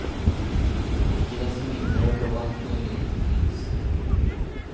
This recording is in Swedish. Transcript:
Icke desto mindre är det bra att möjligheten finns.